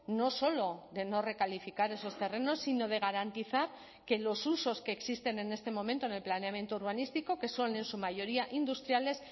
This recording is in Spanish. no solo de no recalificar esos terrenos sino de garantizar que los usos que existen en este momento en el planeamiento urbanístico que son en su mayoría industriales